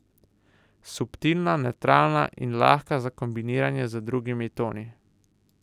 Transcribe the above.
Subtilna, nevtralna in lahka za kombiniranje z drugimi toni.